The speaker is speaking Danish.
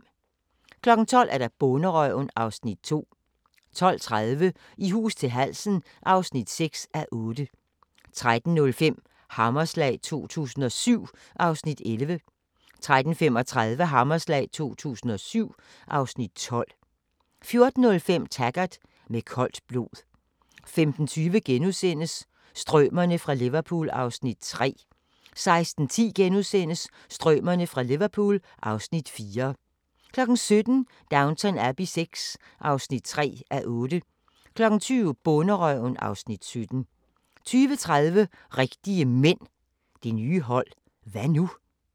12:00: Bonderøven (Afs. 2) 12:30: I hus til halsen (6:8) 13:05: Hammerslag 2007 (Afs. 11) 13:35: Hammerslag 2007 (Afs. 12) 14:05: Taggart: Med koldt blod 15:20: Strømerne fra Liverpool (Afs. 3)* 16:10: Strømerne fra Liverpool (Afs. 4)* 17:00: Downton Abbey VI (3:8) 20:00: Bonderøven (Afs. 17) 20:30: Rigtige Mænd – det nye hold – hva' nu?